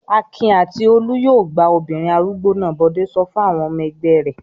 "Akin àti Olú yóò gbá obìnrin arúgbó náà!" Bọ̀dé sọ fún àwọn ọmọ ẹgbẹ́ rẹ̀.